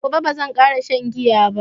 daga gobe baran kara shan giya ba